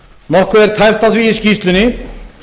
nokkuð er tæpt á því í skýrslunni